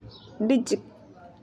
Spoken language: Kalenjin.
Dijk .